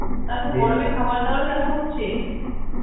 গরমে খাবার দাবার কেমন হচ্ছে?